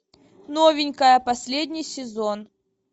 новенькая последний сезон